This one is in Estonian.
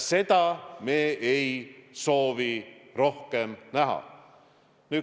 Seda olukorda me ei soovi rohkem näha.